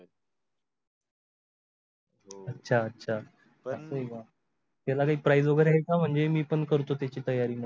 हो अचा आचा पण त्यला काही price वगेरे आहे का म्हणजे मी पण करतो त्याची तयारी मग.